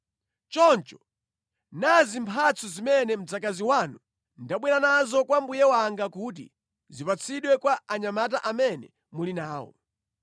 Choncho, nazi mphatso zimene mdzakazi wanu ndabwera nazo kwa mbuye wanga kuti zipatsidwe kwa anyamata amene muli nawo.